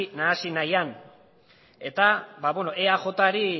nahasi nahian eta eajri